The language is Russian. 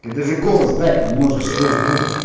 ты даже голос дать не можешь слыш друже